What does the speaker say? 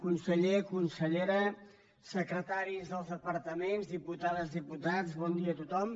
conseller consellera secretaris dels departaments diputades diputats bon dia a tothom